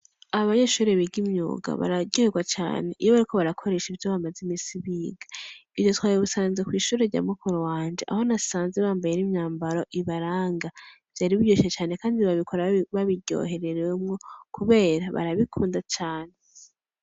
Abo banyeshuri biga imyuga bararyerwa cane iyo bariko barakoresha ivyo bamaze imisi biga ivyo twabebusanze kw'ishura rya mukuro wanje aho nasanze bambaye n'imyambaro ibaranga vyari biryushe cane, kandi babikora babiryohererewemwo, kubera barabikunda cane.